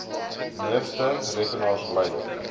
meeste rekenaars lyk